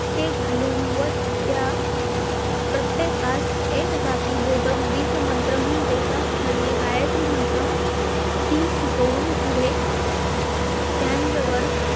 ते घालून व त्या प्रत्येकास एक जाती बोधक बीजमंत्र म्हणजे ज्यात हळ्ळी गायत्री मंत्र ती शिकवून पुढे त्याजवर